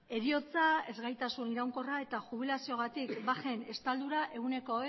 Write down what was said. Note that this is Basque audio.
heriotza ezgaitasun iraunkorra eta jubilaziogatik bajen estaldura ehuneko